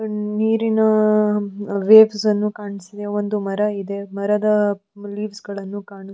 ನೀರಿನ ವೇವ್ಸ್ ಅನ್ನು ಕಾಣಿಸ್ತಿದೆ ಒಂದು ಮರ ಇದೆ ಮರದ ಲೀವ್ಸ್ ಗಳನ್ನು ಕಾಣಿಸುತ್ತಿದೆ.